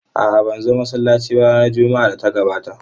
A'a, ban zo masallaci ba ranar Juma'ar da ta gabata.